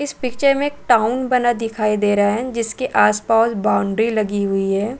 इस पिक्चर में एक टाउन बना दिखाई दे रहा है जिसके आसपास बाउंड्री लगी हुई हैं।